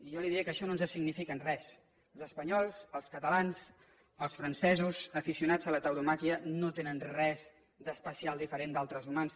jo li diré que això no ens significa res els espanyols els catalans els francesos aficionats a la tauromàquia no tenen res d’especial diferent d’altres humans